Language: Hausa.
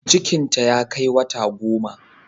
Cikinta ya kai wata goma